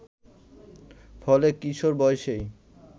ফলে, কিশোর বয়সেই